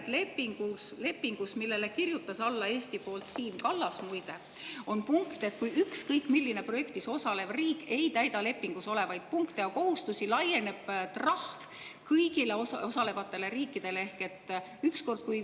Tuli välja, et lepingus, millele Eesti nimel on alla kirjutanud Siim Kallas, muide, on punkt, et kui ükskõik milline projektis osalev riik ei täida lepingus olevaid punkte ja kohustusi, laieneb trahv kõigile osalevatele riikidele.